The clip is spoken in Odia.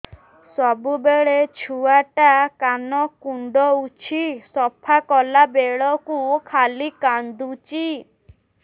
ସବୁବେଳେ ଛୁଆ ଟା କାନ କୁଣ୍ଡଉଚି ସଫା କଲା ବେଳକୁ ଖାଲି କାନ୍ଦୁଚି